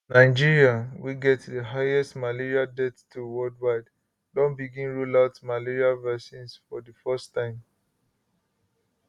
nigeria wey get di highest malaria death toll worldwide don begin roll out malaria vaccine for di first time